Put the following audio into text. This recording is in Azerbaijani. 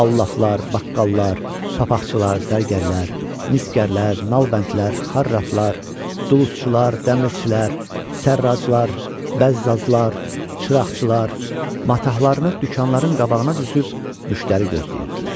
Allafılar, baqqallar, papaqçılar, zərgərlər, misgərlər, nalbəndlər, xarratlar, duluzçular, dəmirçilər, sərraqlar, bəzzazlar, çıraqçılar matahlarını dükanların qabağına düzüb müştəri gözləyirdilər.